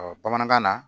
bamanankan na